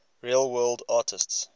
real world artists